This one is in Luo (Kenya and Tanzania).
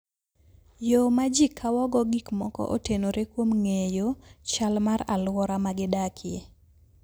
Yo ma ji kawogo gik moko otenore kuom ng'eyo chal mar alwora ma gidakie.